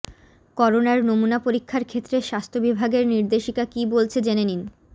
করোনার নমুনা পরীক্ষার ক্ষেত্রে স্বাস্থ্য বিভাগের নির্দেশিকা কী বলছে জেনে নিন